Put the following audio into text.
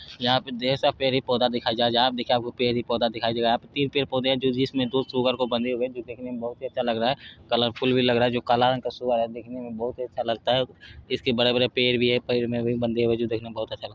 यहाँ पे देर सा पेड़े-पौधा दिखाया जा जहाँ पे देखिये आप को पेड़-पौधा दिखाई दे रहा है यहाँ पे तीन पेड़-पौधे हैं जो जिसमे दो सुअर को बंधे हुए है जो देखने में बहुत ही अच्छे लग रहा है कलरफूल भी लग रहा है जो काला रंग का सुअर है जो देखने में अच्छा लगता है इसके बड़े-बड़े में पेर भी है पेड़ में बंधे हुए है जो देखने में बहुत अच्छा लगता है।